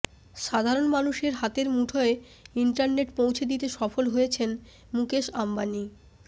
সাধারন মানুষের হাতের মুঠোয় ইন্টারনেট পৌঁছে দিতে সফল হয়েছেন মুকেশ আম্বানি